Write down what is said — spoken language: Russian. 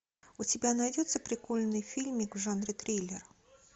у тебя найдется прикольный фильмик в жанре триллер